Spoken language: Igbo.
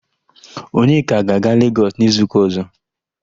Onyeka ga-aga Legọs n'izuụka ọ̀zọ́.